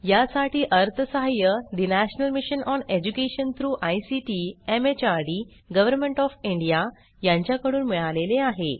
यासाठी अर्थसहाय्य national mission on education through ICT MHRD government of India यांच्याकडून मिळालेले आहे